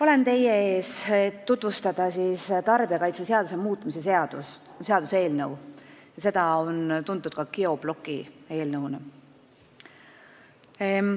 Olen teie ees, et tutvustada tarbijakaitseseaduse muutmise seaduse eelnõu, mis on tuntud ka geobloki eelnõuna.